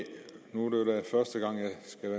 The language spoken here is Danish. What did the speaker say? nogle